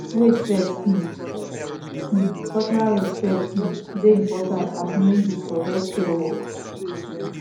wait first um um cultural respect um dey important as knowing book for healthcare work